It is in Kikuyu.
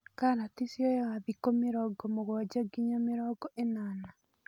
Karati cioyaga thikũ mĩrongo mũgwanja nginya mĩrongo ĩnana.